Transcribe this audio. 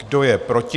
Kdo je proti?